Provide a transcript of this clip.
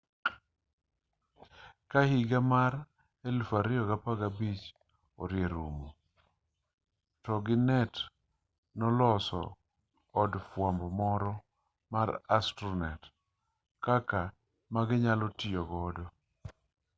ka higa mar 2015 orie rumo toginet noloso od fwambo moro mar astronet kaka maginyalo tiyo godo